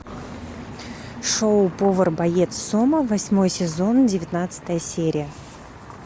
шоу повар боец сома восьмой сезон девятнадцатая серия